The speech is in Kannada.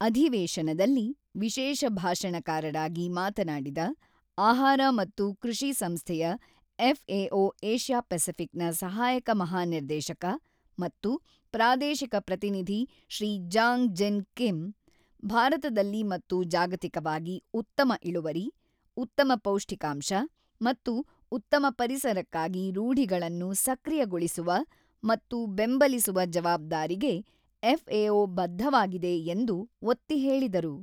ಅಧಿವೇಶನದಲ್ಲಿ ವಿಶೇಷ ಭಾಷಣಕಾರರಾಗಿ ಮಾತನಾಡಿದ, ಆಹಾರ ಮತ್ತು ಕೃಷಿ ಸಂಸ್ಥೆಯ ಎಫ್ಎಒ ಏಷ್ಯಾ ಪೆಸಿಫಿಕ್ ನ ಸಹಾಯಕ ಮಹಾನಿರ್ದೇಶಕ ಮತ್ತು ಪ್ರಾದೇಶಿಕ ಪ್ರತಿನಿಧಿ ಶ್ರೀ ಜಾಂಗ್ ಜಿನ್ ಕಿಮ್, ಭಾರತದಲ್ಲಿ ಮತ್ತು ಜಾಗತಿಕವಾಗಿ ಉತ್ತಮ ಇಳುವರಿ, ಉತ್ತಮ ಪೌಷ್ಟಿಕಾಂಶ ಮತ್ತು ಉತ್ತಮ ಪರಿಸರಕ್ಕಾಗಿ ರೂಢಿಗಳನ್ನು ಸಕ್ರಿಯಗೊಳಿಸುವ ಮತ್ತು ಬೆಂಬಲಿಸುವ ಜವಾಬ್ದಾರಿಗೆ ಎಫ್ಎಒ ಬದ್ಧವಾಗಿದೆ ಎಂದು ಒತ್ತಿ ಹೇಳಿದರು.